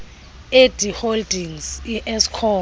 edi holdings ieskom